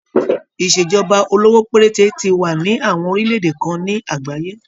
Ìṣèjọba olówó péréte ti wà ní àwọn orílẹ̀-èdè kan ní àgbáyé.